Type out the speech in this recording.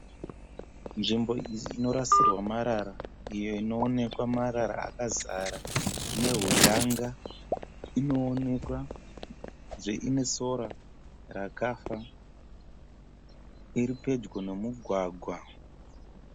Nzvimbo iyi inorasirwa marara iyo inoonekwa marara akazara nehuyanga. Inoonekwa zve inesora rakafa. Iripedyo nomugwagwa.